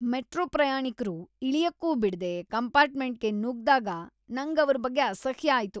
Metro ಪ್ರಯಾಣಿಕ್ರು ಇಳಿಯಕ್ಕೂ ಬಿಡದೆ ಕಂಪಾರ್ಟ್ಮೆಂಟ್ಗೆ ನುಗ್ದಾಗ ನಂಗ್ ಅವ್ರ ಬಗ್ಗೆ ಅಸಹ್ಯ ಆಯ್ತು.